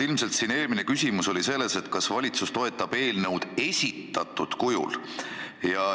Ilmselt oli eelmine küsimus see, kas valitsus toetab eelnõu esitatud kujul.